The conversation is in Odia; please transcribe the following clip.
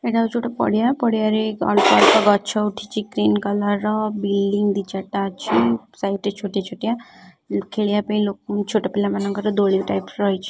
ଏଇଟା ହେଊଛି ଗୋଟେ ପଡ଼ିଆ ପଡ଼ିଆରେ ଅଳ୍ପ ଅଳ୍ପ ଗଛ ଉଠିଛି ଗ୍ରୀନ କଲର ର ବିନ୍ ଦି ଚାରିଟା ଅଛି ସେମିତି ଛୋଟିଆ ଛୋଟିଆ ଖେଳିବା ପାଇଁ ଲୋକ ଛୋଟ ପିଲା ମାନଙ୍କର ଦୋଳି ଟାଇପ୍ ର ରହିଛି।